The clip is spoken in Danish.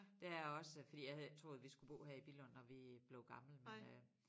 Det er jeg også fordi jeg havde ikke troet vi skulle bo her i Billund når vi blev gamle men øh